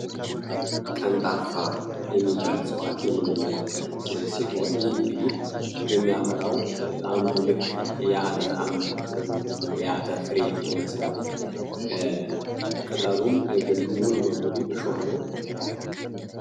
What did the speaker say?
ቀንጣፋ የሚበልፀዋት የምንመለከት ሲሆን ይህ እንግዲ ህ የሚያፈራ ሙልክ የአተር አም ወይም ደሞ የአተር ፍሬ ይመስላል ቅጠሉም ሙሉ በሙሉ እሾህ ነው